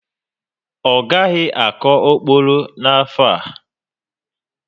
Ọ gaghị akọ ókpòrò n'afọ a